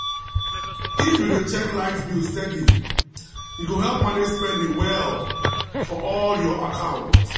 if you dey check light bill steady e go help manage spending well for all your account